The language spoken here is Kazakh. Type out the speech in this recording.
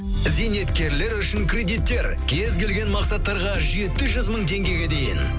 зейнеткерлер үшін кредиттер кез келген мақсаттарға жеті жүз мың теңгеге дейін